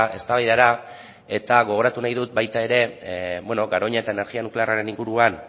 eztabaidara eta gogoratu nahi dut baita ere garoña eta energia nuklearraren inguruan